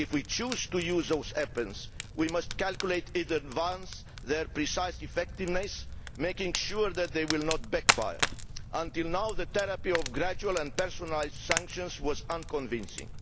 If we choose to use those weapons we must calculate in advance their precise effectiveness, making sure that they will not backfire. So far the therapy of gradual and personalised sanctions has been unconvincing.